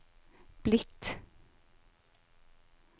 blitt